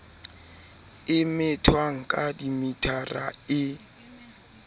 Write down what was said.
e methwang ka dimetara e